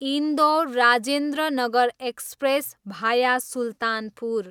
Indore, Rajendranagar express, भाया सुल्तानपुर